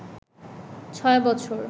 ৬ বছর